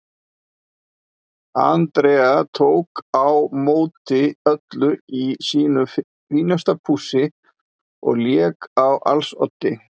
Andrea tók á móti öllum í sínu fínasta pússi og lék á als oddi.